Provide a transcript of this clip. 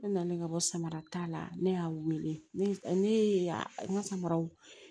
Ne nana ka bɔ samara t'a la ne y'a wele ne y'e n ka samaraw